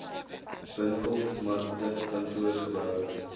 winkels markte kantoorgeboue